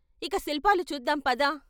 "ఇక శిల్పాలు చూద్దాం పద...